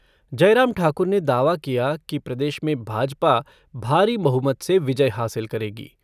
जयराम ठाकुर ने दावा किया कि प्रदेश में भाजपा भारी बहुमत से विजय हासिल करेगी।